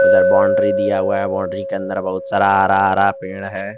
इधर बाउंड्री दिया हुआ है बाउंड्री के अंदर बहुत सा हरा हरा पेड़ है।